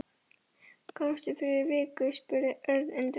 Komstu fyrir viku? spurði Örn undrandi.